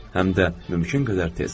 Həm də mümkün qədər tez.